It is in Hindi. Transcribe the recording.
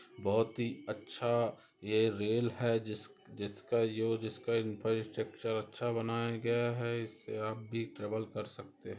बहुत ही अच्छा ये रेल है जिस जिसका यो जिसका इंफ्रास्ट्रक्चर अच्छा बनाया गया है इससे आप भी ट्रेवल कर सकते हैं।